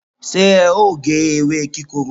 se e o ge ewe kikoro?